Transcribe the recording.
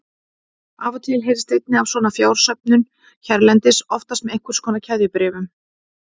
Af og til heyrist einnig af svona fjársöfnun hérlendis, oftast með einhvers konar keðjubréfum.